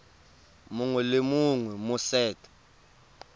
mongwe le mongwe mo set